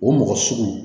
O mɔgɔ sugu